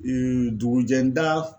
Ee dugu jɛ da